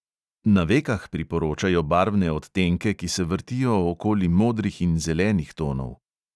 Na vekah priporočajo barvne odtenke, ki se vrtijo okoli modrih in zelenih tonov.